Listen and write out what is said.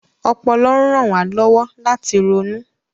Ọpọlọ ń ran wa lọwọ lati ronu.